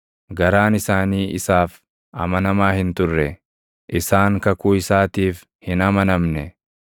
garaan isaanii isaaf amanamaa hin turre; isaan kakuu isaatiif hin amanamne.